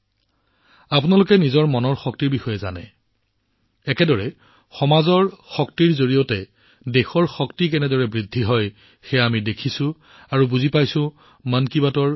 আপোনালোকে আপোনালোকৰ মনৰ শক্তি জানে একেদৰে সমাজৰ শক্তিৰ সৈতে দেশৰ শক্তি কেনেদৰে বৃদ্ধি হয় এইটো আমি মন কী বাতৰ বিভিন্ন খণ্ডত দেখিছোঁ আৰু বুজি পাইছো